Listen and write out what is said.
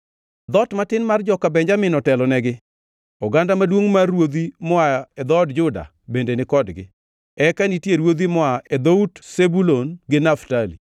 Dhoot matin mar joka Benjamin otelonegi, oganda maduongʼ mar ruodhi moa e dhood Juda bende ni kodgi, eka nitie ruodhi moa e dhout Zebulun gi Naftali.